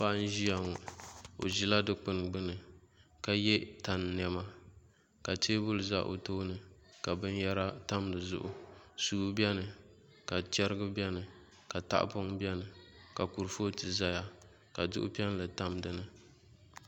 Paɣa m ʒiya ŋo o ʒila dikpuni gbuni ka yɛ tani niɛma ka teebuli ʒɛ o tooni ka binyɛra tam dizuɣu suu bɛni ka chɛrigi bɛni ka tahapoŋ bɛni ka kurifooti ʒɛya ka duɣu piɛlli tam dinni